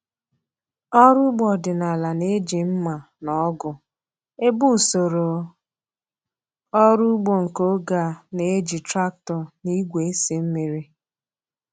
Ọrụ ugbo ọdịnala na-eji mma na ọgụ, ebe usoro ọrụ ugbo nke oge a na-eji traktọ na igwe esi mmiri.